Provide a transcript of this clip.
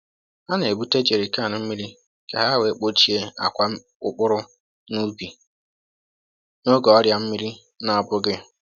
Ha na-ebute jerrycan mmiri ka ha wee kpochie akwa mkpụrụ n’ubi n’oge ọrịa mmiri na-abụghị.